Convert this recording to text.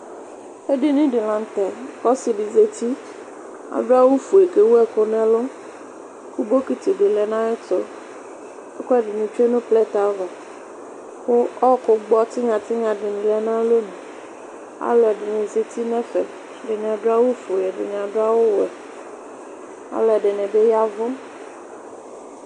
Edini dɩ la nʋ tɛ kʋ ɔsɩ dɩ zǝti Adu awufue kʋ ewu ɛkʋ nʋ ɛlʋ, kʋ bɔkɩtɩ bɩ lɛ nʋ ayʋ ɛtʋ Ɛkʋɛdɩnɩ tsue nʋ plɛtɛ ava, kʋ ɔɔkʋ gbɔ tinya tinya dɩnɩ lɛ nʋ alɛli Alu ɛdɩnɩ zǝti nʋ ɛfɛ Ɛdɩnɩ adu awufue, ɛdɩnɩ adu awuwɛ Alu ɛdɩnɩ bɩ ya ɛvʋ